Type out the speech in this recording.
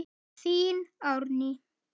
Þín, Árný.